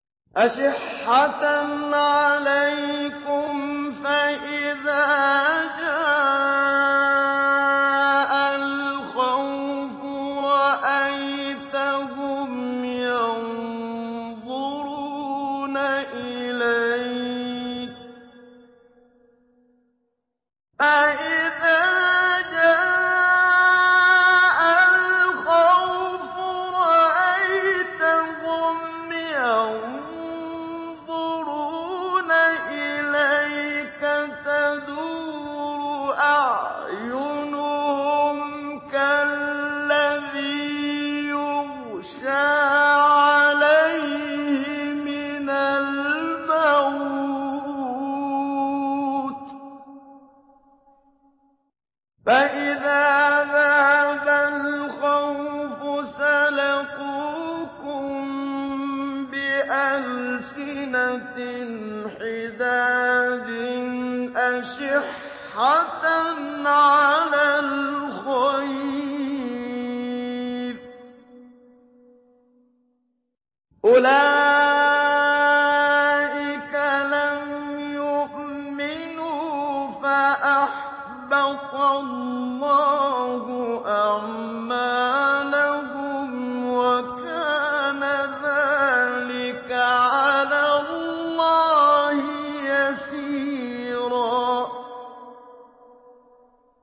أَشِحَّةً عَلَيْكُمْ ۖ فَإِذَا جَاءَ الْخَوْفُ رَأَيْتَهُمْ يَنظُرُونَ إِلَيْكَ تَدُورُ أَعْيُنُهُمْ كَالَّذِي يُغْشَىٰ عَلَيْهِ مِنَ الْمَوْتِ ۖ فَإِذَا ذَهَبَ الْخَوْفُ سَلَقُوكُم بِأَلْسِنَةٍ حِدَادٍ أَشِحَّةً عَلَى الْخَيْرِ ۚ أُولَٰئِكَ لَمْ يُؤْمِنُوا فَأَحْبَطَ اللَّهُ أَعْمَالَهُمْ ۚ وَكَانَ ذَٰلِكَ عَلَى اللَّهِ يَسِيرًا